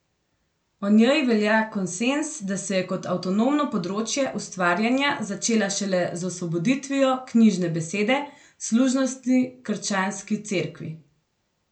O njej velja konsenz, da se je kot avtonomno področje ustvarjanja začela šele z osvoboditvijo knjižne besede služnosti krščanski Cerkvi.